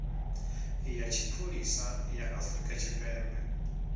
ya tshipholisa ya afrika tshipembe